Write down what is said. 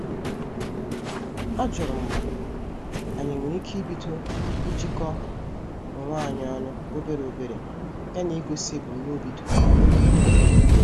Ajurum ma anyị enwere ike ibido ijiko onwe anyị ọnụ obere obere ya na igosi ebumnobi doro anya.